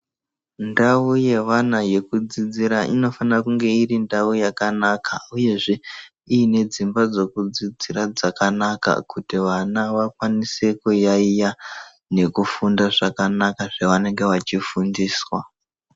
Ndawo yevana yekudzidzira inofanira kunge irindawu yakanaka, uyezve, inedzimba dzokudzidzira dzakanaka kuti vana vakwanise kuyayiya nekufunda zvakanaka zvavanenge vachifundiswa.